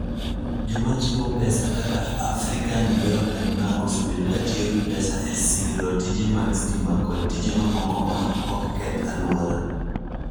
Joma chiwo pesa kaka African Development Bank osebedo ka tiyo gi pesa e siro mana tije mag stima kod tije mamoko ma ok keth alwora.